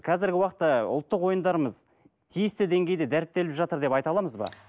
қазіргі уақытта ұлттық ойындарымыз тиісті деңгейде дәріптеліп жатыр деп айта аламыз ба